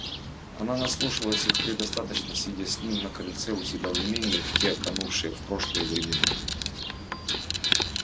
она наслушалась их предостаточно сидя с ним на крыльце у себя в имении в те канувшие в прошлое времена